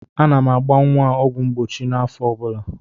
Ana m agba nwa a ọgwụ mgbochi n'afọ ọ bụla.